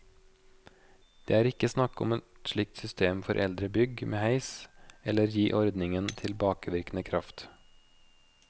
Det er ikke snakk om et slikt system for eldre bygg med heis eller å gi ordningen tilbakevirkende kraft.